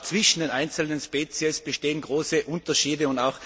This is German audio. Auch zwischen den einzelnen Spezies bestehen große Unterschiede.